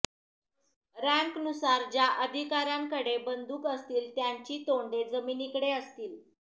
रँकनुसार ज्या अधिकाऱ्यांकडे बंदूक असतील त्यांची तोंडे जमिनीकडे असतील